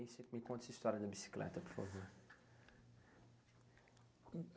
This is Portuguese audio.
Aí você me conta essa história da bicicleta, por favor.